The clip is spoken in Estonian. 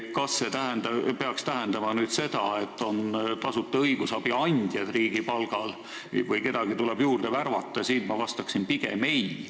Kas see peaks tähendama seda, et tasuta õigusabi andjad on riigi palgal ja kedagi tuleb juurde värvata, siin ma vastaksin pigem ei.